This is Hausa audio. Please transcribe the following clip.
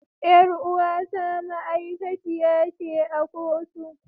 Yar uwata ma'aikaci ce a kotu.